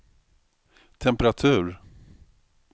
temperatur